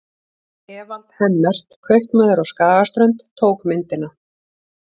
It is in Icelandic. Evald Hemmert, kaupmaður á Skagaströnd, tók myndina.